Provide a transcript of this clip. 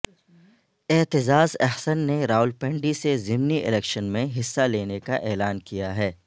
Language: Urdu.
اعتزاز احسن نے راولپنڈی سے ضمنی الیکشن میں حصہ لینے کا اعلان کیا ہے